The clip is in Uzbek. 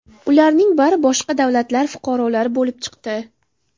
Ularning bari boshqa davlatlar fuqarolari bo‘lib chiqdi.